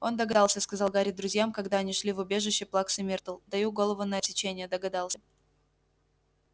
он догадался сказал гарри друзьям когда они шли в убежище плаксы миртл даю голову на отсечение догадался